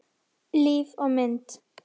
Líf og mynd